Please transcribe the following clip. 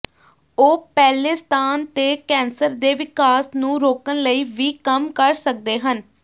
ਉਹ ਪਹਿਲੇ ਸਥਾਨ ਤੇ ਕੈਂਸਰ ਦੇ ਵਿਕਾਸ ਨੂੰ ਰੋਕਣ ਲਈ ਵੀ ਕੰਮ ਕਰ ਸਕਦੇ ਹਨ